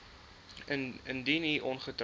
indien u ongetroud